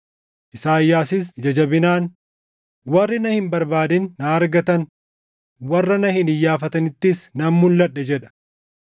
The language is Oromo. Isaayyaasis ija jabinaan, “Warri na hin barbaadin na argatan; warra na hin iyyaafatinittis nan mulʼadhe” + 10:20 \+xt Isa 65:1\+xt* jedha.